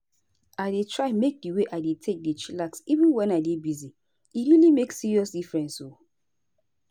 i dey try make di way i take dey chillax even wen i dey busy. e really make serious difference o.